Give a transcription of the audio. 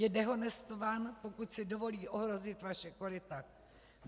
Je dehonestován, pokud si dovolí ohrozit vaše koryta.